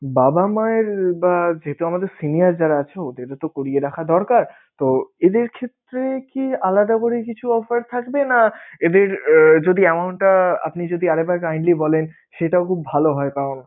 বাবা মায়ের বা যেহেতু আমাদের senior যারা আছে ওদেরও তো করিয়ে রাখা দরকার, তো এদের ক্ষেত্রে কি আলাদা করে কিছু offer থাকবে? না এদের যদি amount টা আপনি যদি আর একবার kindly বলেন সেটাও খুব ভালো হয়